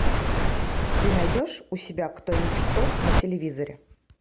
ты найдешь у себя кто есть кто на телевизоре